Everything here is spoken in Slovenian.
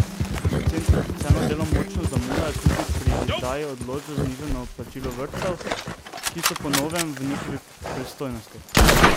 Centri za socialno delo močno zamujajo tudi pri izdaji odločb za znižano plačilo vrtcev, ki so po novem v njihovi pristojnosti.